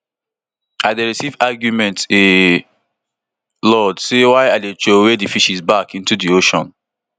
i dey receive argument a lot say why i dey throway di fishes back back into di ocean